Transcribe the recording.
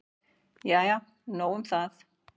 Jæja nóg um það.